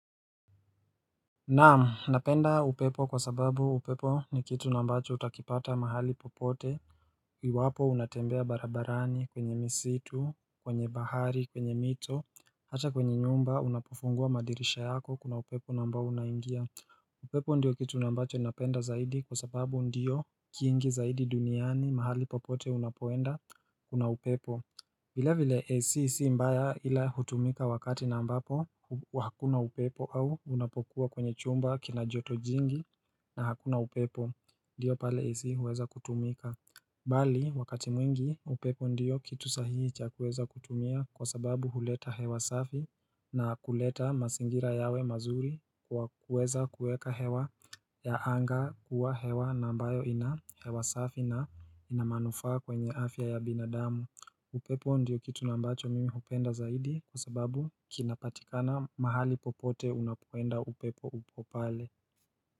Naam, napenda upepo kwa sababu upepo ni kitu na ambacho utakipata mahali popote iwapo unatembea barabarani kwenye misitu, kwenye bahari, kwenye mito, hata kwenye nyumba unapofungua madirisha yako kuna upepo naambao unaingia upepo ndio kitu nambacho unapenda zaidi kwa sababu ndio kingi zaidi duniani mahali popote unapoenda kuna upepo vile vile AC si mbaya ila hutumika wakati na ambapo wakuna upepo au unapokuwa kwenye chumba kina joto jingi na hakuna upepo Ndiyo pale AC huweza kutumika Bali wakati mwingi upepo ndiyo kitu sahihi cha kuweza kutumia kwa sababu huleta hewa safi na kuleta mazingira yawe mazuri kwa kuweza kueka hewa ya anga kuwa hewa na mbayo ina hewa safi na inamanufa kwenye afya ya binadamu Naam, napenda upepo kwa sababu upepo ni kitu nambacho utakipata mahali popote Kwi wapo unatembea barabarani kwenye misitu, kwenye bahari, kwenye mito, hata kwenye nyumba unapofungua madirisha yako kuna upepo namba unaingia.